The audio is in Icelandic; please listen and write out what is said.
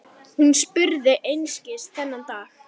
Hún spurði einskis þennan daginn.